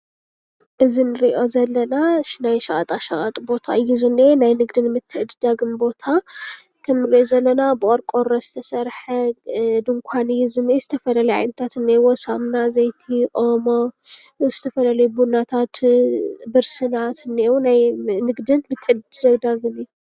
እዚ ንሪኦ ዘለና ናይ ሸቀጣሸቀጥ ቦታ እዩ ።ናይ ንግድን ምትዕድዳግን ቦታ እዚ ንሪኦ ዘለና ብቆርቆሮ ዝተሰርሐ ድንኳን እዩ ዝኒኤ ዝተፈላለዩ ዓይነታት እኒኦዎ ሳሙና፣ ዘይቲ፣ ኦሞ ፣ዝተፈላለዩ ቡናታት፣ ብርስናትን እንኤዉ። ናይ ንግድን ምትዕድዳግን እዩ።